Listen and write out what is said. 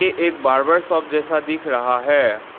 ये एक barber shop जैसा दिख रहा है।